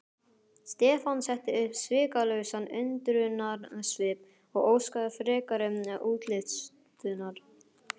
Stefán setti upp svikalausan undrunarsvip og óskaði frekari útlistunar.